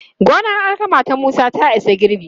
Gonar alkama ta Musa ta isa girbi.